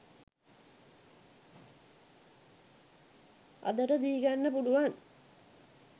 අදට දීගන්න පුලුවන්